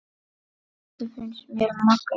Þetta finnst mér magnað.